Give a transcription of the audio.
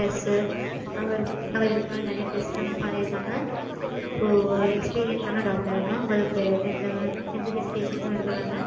Yes sir அவர் அவர் இதுக்கு முன்னாடி நெறைய test பண்ணிருக்காங்க. So அவர் experience ஆன doctor தா. உங்களுக்கு எந்த hesitation உம் இருக்க வேண்டாம்.